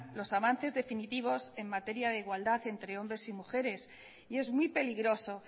los avances definitivos en materia de igualdad entre hombres y mujeres y es muy peligroso